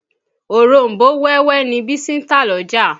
Òronbó wẹ́wẹ́ ni Bísí ń tà l'ọ́jà.